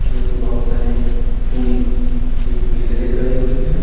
जो कि बहुत सारी पुल की पिलरें गड़ी हुई है।